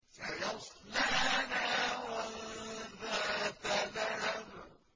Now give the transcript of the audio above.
سَيَصْلَىٰ نَارًا ذَاتَ لَهَبٍ